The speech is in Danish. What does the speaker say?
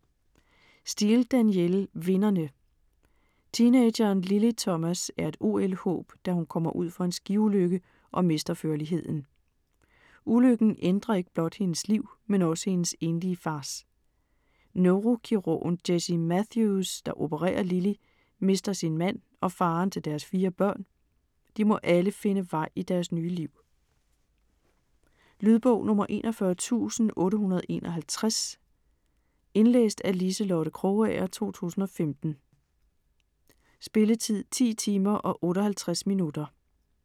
Steel, Danielle: Vinderne Teenageren Lily Thomas er et OL-håb, da hun kommer ud for en skiulykke og mister førligheden. Ulykken ændrer ikke blot hendes liv, men også hendes enlige fars. Neurokirurgen, Jessie Matthews, der opererer Lily, mister sin mand og faderen til deres fire børn. De må alle finde vej i deres nye liv. Lydbog 41851 Indlæst af Liselotte Krogager, 2015. Spilletid: 10 timer, 58 minutter.